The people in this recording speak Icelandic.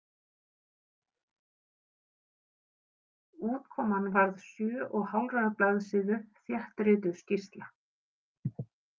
Útkoman varð sjö og hálfrar blaðsíðu þéttrituð skýrsla.